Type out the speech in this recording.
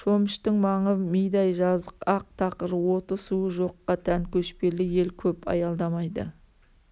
шөміштің маңы мидай жазық ақ тақыр оты-суы жоққа тән көшпелі ел көп аялдамайды